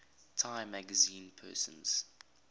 time magazine persons